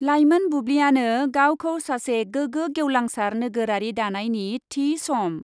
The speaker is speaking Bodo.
लाइमोन बुब्लियानो गावखौ सासे गोगो गेवलांसार नोगोरारि दानायनि थि सम ।